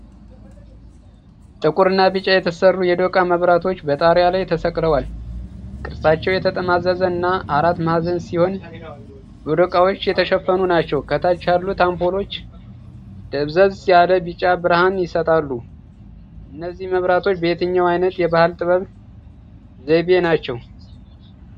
ጥቁርና ቢጫ የተሰሩ የዶቃ መብራቶች በጣሪያ ላይ ተሰቅለዋል። ቅርጻቸው የተጠማዘዘ እና አራት ማዕዘን ሲሆን፣ በዶቃዎች የተሸፈኑ ናቸው። ከታች ያሉት አምፖሎች ደብዘዝ ያለ ቢጫ ብርሃን ይሰጣሉ። እነዚህ መብራቶች በየትኛው ዓይነት የባህል ጥበብ ዘይቤ ናቸው?